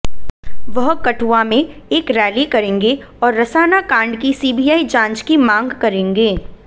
वह कठुआ में एक रैली करेंगे और रसाना कांड की सीबीआई जांच की मांग करेंगे